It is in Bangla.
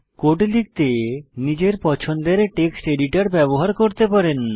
কোড লিখতে নিজের পছন্দের টেক্সট এডিটর ব্যবহার করতে পারেন